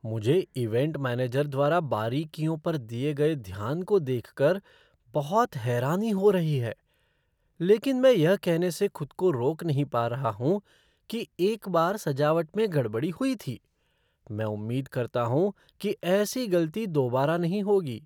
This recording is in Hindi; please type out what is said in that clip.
मुझे इवेंट मैनेजर द्वारा बारीकियों पर दिए गए ध्यान को देख कर बहुत हैरानी हो रही है, लेकिन मैं यह कहने से खुद को रोक नहीं पा रहा हूँ कि एक बार सजावट में गड़बड़ी हुई थी। मैं उम्मीद करता हूँ कि ऐसी गलती दोबारा नहीं होगी।